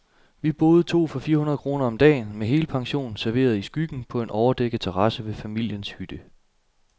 Vi boede to for fire hundrede kroner om dagen, med helpension, serveret i skyggen på en overdækket terrasse ved familiens hytte.